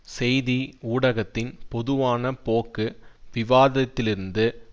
செய்தி ஊடகத்தின் பொதுவான போக்கு விவாதத்திலிருந்து